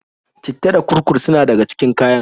citta da kurkur suna daga cikin kayan.